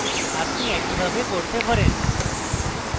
আপনি একইভাবে করতে পারেন